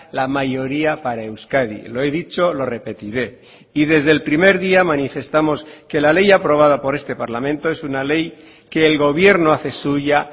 la mayoría para euskadi lo he dicho lo repetiré y desde el primer día manifestamos que la ley aprobada por este parlamento es una ley que el gobierno hace suya